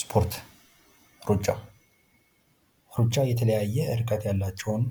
ስፖርት ፦ ሩጫ ፦ ሩጫ የተለያየ ርቀት ያላቸውን